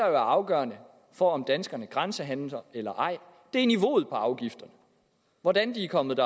er afgørende for om danskerne grænsehandler eller ej er niveauet på afgifterne hvordan de er kommet